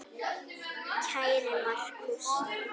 Kæri Markús.